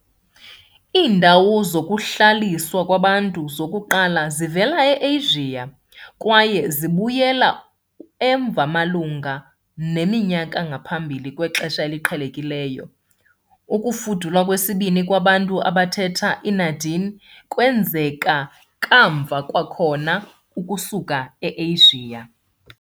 Iindawo zokuhlaliswa kwabantu zokuqala zivela eAsia kwaye zibuyela emva malunga neminyaka ngaphambi kweXesha Eliqhelekileyo .Ukufuduka kwesibini kwabantu abathetha i-Na-Dene kwenzeka kamva, kwakhona ukusuka e-Asia .